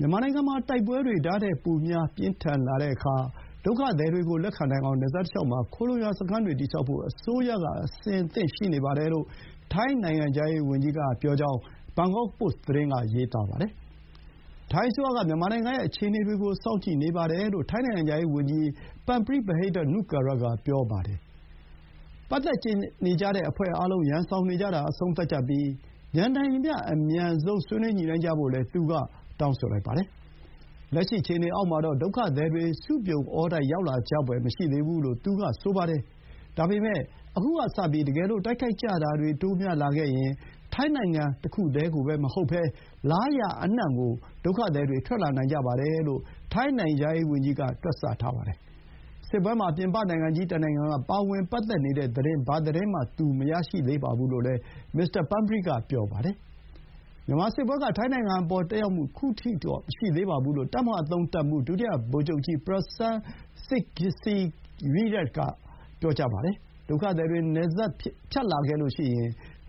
မြန်မာနိုင်ငံမှာ တိုက်ပွဲတွေဒါ့ထက်ပိုများ ပြင်းထန်လာတဲ့အခါ ဒုက္ခသည်တွေကိုလက်ခံနိုင်အောင် နယ်စပ်တလျှောက်မှာ ခိုလှုံရာစခန်းတွေတည်ဆောက်ဖို့ အစိုးရ က အဆင်သင့်ရှိနေပါတယ်လို့ ထိုင်းနိုင်ငံခြားရေးဝန်ကြီးက ပြောကြောင်း ဘန်ကောက်ပို့စ် သတင်းက ရေးပါတယ်။ ထိုင်းအစိုးရက မြန်မာနိုင်ငံရဲ့ အခြေအနေတွေကို စောင့်ကြည့်နေတယ်လို့ ထိုင်းနိုင်ငံခြားရေးဝန်ကြီး ပန်ပရီး ဗဟိဒ္ဓ နုကာရ (Parnpree Bahiddha-Nukara) က တနင်္ဂနွေနေ့ က ပြောခဲ့တာပါ။ ပတ်သက်နေကြတဲ့ အဖွဲ့အားလုံး ရန်စောင်နေကြတာ အဆုံးသတ်ကြပြီး မြန်နိုင်သမျှ အမြန်ဆုံး ဆွေးနွေးညှိနှိုင်းကြဖို့လည်း သူက တောင်းဆိုလိုက်ပါတယ်။ “လက်ရှိအခြေအနေအောက်မှာတော့ ဒုက္ခသည်တွေ စုပြုံအောတိုက် ရောက်လာကြဖွယ် မရှိသေးဘူး” လို့ သူက ဆိုပါတယ်။ ဒါပေမဲ့ ခုကစပြီး တကယ်လို့ တိုက်ခိုက်ကြတာတွေတိုးများလာခဲ့ရင် ထိုင်းနိုင်ငံတခုတည်းမဟုတ်ဘဲ လားရာအနှံ့ကို ဒုက္ခသည်တွေ ထွက်လာနိုင်ကြပါတယ်လို့ ထိုင်းနိုင်ငံခြားရေးဝန်ကြီးက တွက်ဆပါတယ်။ စစ်ပွဲမှာ ပြင်ပနိုင်ငံကြီးတနိုင်ငံက ပါဝင်ပတ်သက်နေတဲ့သတင်း ဘာသတင်းမှ သူမရရှိသေးပါဘူးလို့လည်း မစ္စတာပန်းပရီးက ပြောပါတယ်။ ‘မြန်မာစစ်ပွဲက ထိုင်းနိုင်ငံအပေါ် သက်ရောက်မှု ခုထိတာ့ မရှိသေးပါဘူး’ လို့ တပ်မဟာ ၃ တပ်မှူး ဒုတိယ ဗိုလ်ချုပ်ကြီး ပရာစန်း ဆန်ဂ်စီရီရက် (Prasarn Saengsirirak) က ပြောပါတယ်။ ‘ဒုက္ခသည်တွေ နယ်စပ်ဖြတ်လာခဲ့ရင်